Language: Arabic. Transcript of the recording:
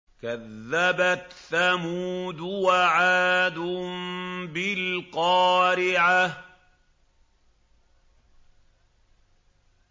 كَذَّبَتْ ثَمُودُ وَعَادٌ بِالْقَارِعَةِ